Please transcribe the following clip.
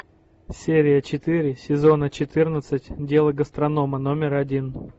серия четыре сезона четырнадцать дело гастронома номер один